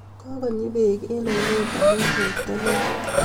kokonyi bek eng ainet amun ropta neo